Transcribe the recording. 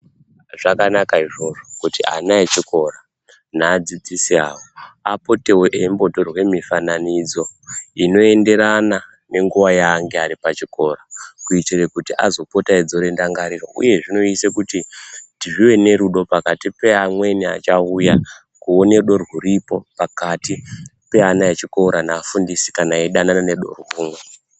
Zvakanaka izvozvo kuti ana echikora naadzidzisi awo apotewo eimbotorwe mifananidzo inoenderana nenguwa yangaa aripachikora kuitire kuti azopote eidzora ndangariro uye zvinoise kuti tive nerudo pakati pevamweni vachauya kuone rudo rwuripo pakati pevana vechikora nevafundisi kana vachidanana nerudo rumwe.